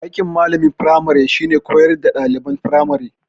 Aikin malamin firmari shine koyar da ɗaliban firamari